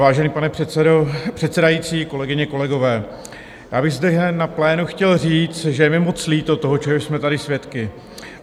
Vážený pane předsedající, kolegyně, kolegové, já bych zde na plénu chtěl říct, že je mi moc líto toho, čeho jsme tady svědky.